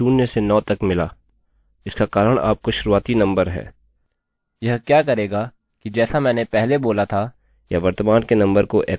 यह क्या करेगा कि जैसा मैंने पहले बोला था यह वर्तमान के नंबरnumber को एकोecho करेगा फिर उसमें 1 की वृद्धि करके बदल देगा और फिर यह इसकी if स्टेटमेंटstatement में तुलना करेगा